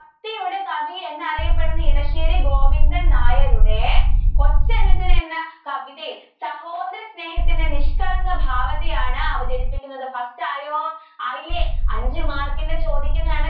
കവി എന്നറിയപ്പെടുന്ന ഇടശ്ശേരി ഗോവിന്ദൻ നായരുടെ കൊച്ചനുജൻ എന്ന കവിതയിൽ സഹോദര സ്നേഹത്തിന്റെ നിഷ്കളങ്ക ഭാവത്തെ ആണ് അവതരിപ്പിക്കുന്നത് മനസ്സിലായോ ആയില്ലേ അഞ്ചു mark ന് ചോദിക്കുന്നതാണ്.